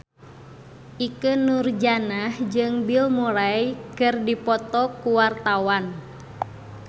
Ikke Nurjanah jeung Bill Murray keur dipoto ku wartawan